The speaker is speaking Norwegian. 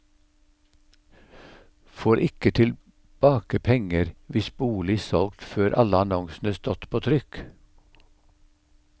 Får ikke tilbake penger hvis bolig solgt før alle annonsene stått på trykk.